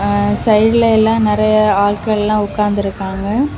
ஆ சைடுல எல்லா நறைய ஆட்கள் எல்லாம் உக்காந்திருக்காங்க.